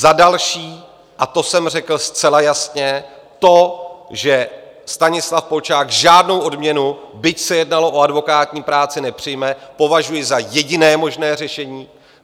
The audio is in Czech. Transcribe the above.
Za další, a to jsem řekl zcela jasně, to, že Stanislav Polčák žádnou odměnu, byť se jednalo o advokátní práci, nepřijme, považuji za jediné možné řešení.